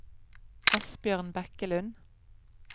Asbjørn Bekkelund